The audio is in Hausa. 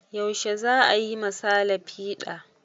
Yaushe za a yi ma sale fiɗa?